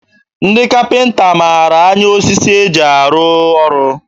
Ndị kapịnta mara anya osisi e ji arụ ọrụ